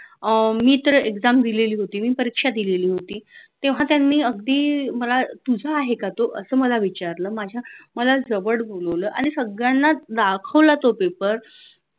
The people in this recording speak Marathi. मी तर exam दिलेली होती. मी परीक्षा दिलेली होती. तेव्हा त्यांनी मला अगदी तुझा आहे का तो असं मला विचारलं माझ्या मला जवळ बोलावलं आणि सगळ्यांना दाखवला तो paper